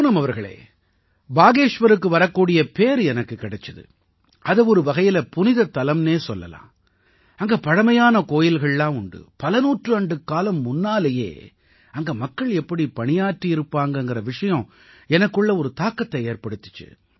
பூனம் அவர்களே பாகேஷ்வருக்கு வரக்கூடிய பேறு எனக்குக் கிடைச்சது அதை ஒரு வகையில புனிதத்தலம்னே சொல்லலாம் அங்க பழமையான கோயில்கள்லாம் உண்டு பல நூற்றாண்டுக்காலம் முன்னாலயே அங்க மக்கள் எப்படி பணியாற்றியிருப்பாங்கங்கற விஷயம் எனக்குள்ள ஒரு தாக்கத்தை ஏற்படுத்திச்சு